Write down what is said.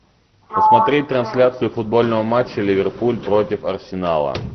посмотреть трансляцию футбольного матча ливерпуль против арсенала